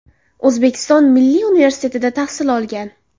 O‘zbekiston Milliy universitetida tahsil olgan.